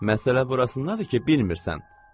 Məsələ burasındadır ki, bilmirsən.